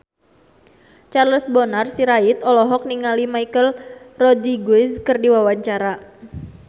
Charles Bonar Sirait olohok ningali Michelle Rodriguez keur diwawancara